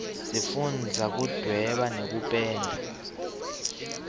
sifundza kuduweba nekupenda